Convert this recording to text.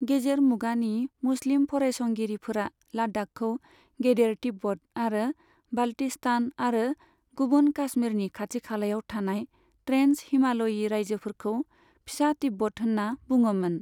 गेजेर मुगानि मुस्लिम फरायसंगिरिफोरा लाद्दाखखौ गेदेर तिब्बत आरो बाल्टिस्तान आरो गुबुन काश्मीरनि खाथिखालायाव थानाय ट्रेन्स हिमाल'यि रायजोफोरखौ फिसा तिब्बत होनना बुङोमोन।